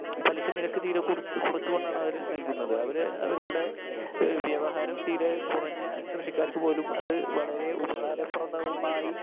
Speaker 1 പലിശ നിരക്ക് തീരെ കുറ കുറച്ചു കൊണ്ടാണ് അവര് നൽകുന്നത്. അവര് അവരുടെ വ്യവഹാരം തീരെക്കുറഞ്ഞ കൃഷിക്കാർക്ക് പോലും അത് വളരെ ഉപകാരപ്രദമായി